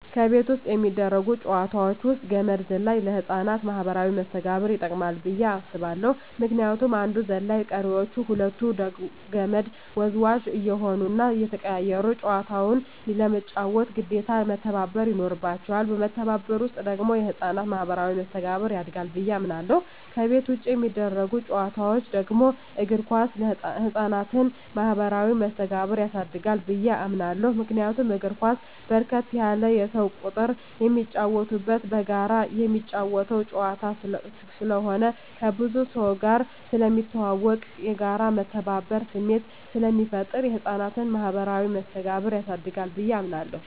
ከቤት ውስጥ የሚደረጉ ጨዋታወች ውስጥ ገመድ ዝላይ ለህፃናት ማኀበራዊ መስተጋብር ይጠቅማ ብየ አስባለሁ ምክንያቱም አንዱ ዘላይ ቀሪወች ሁለቱ ከመድ ወዝዋዥ እየሆኑና እየተቀያየሩ ጨዋታውን ለመጫወት ግዴታ መተባበር ይኖርባቸዋል በመተባበር ውስጥ ደግሞ የህፃናት ማኋበራዊ መስተጋብር ያድጋል ብየ አምናለሁ። ከቤት ውጭ የሚደረጉ ጨዋታወች ደግሞ እግር ኳስ የህፃናትን ማህበራዊ መስተጋብር ያሳድጋል ብየ አምናለሁ። ምክንያቱም እግር ኳስ በርከት ያለ የሰው ቁጥር የሚጫወትበትና በጋራ ምትጫወተው ጨዋታ ስለሆነ ከብዙ ሰውጋር ስለሚያስተዋውቅ፣ የጋራና የመተባበር ስሜት ስለሚፈጥር የህፃናትን ማኀበራዊ መስተጋብር ያሳድጋል ብየ አምናለሁ።